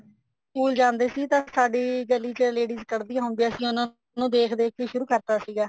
school ਜਾਂਦੇ ਸੀ ਤਾਂ ਸਾਡੀ ਗਲੀ ਚ ladies ਕੱਡਦੀਆਂ ਹੁੰਦੀਆਂ ਸੀ ਉਹਨਾ ਨੂੰ ਦੇਖ ਦੇਖ ਕੇ ਸ਼ੁਰੂ ਕਰਤਾ ਸੀਗਾ